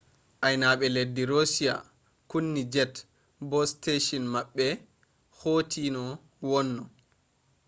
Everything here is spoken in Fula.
ainaaɓe leddi roshiya kunni jet bo steshin maɓɓe hoti no wonno